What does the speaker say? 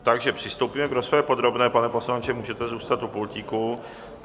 Takže přistoupíme k rozpravě podrobné, pane poslanče, můžete zůstat u pultíku.